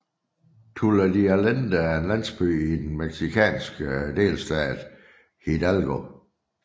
Tula de Allende er en landsby i den mexicanske delstat Hidalgo